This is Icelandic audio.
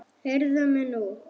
Heyrðu mig nú!